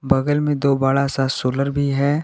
बगल में दो बड़ा सा सोलर भी है।